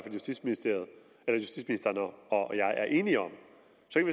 at justitsministeren og jeg er enige om